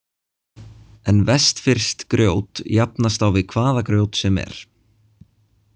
En vestfirskt grjót jafnast á við hvaða grjót sem er.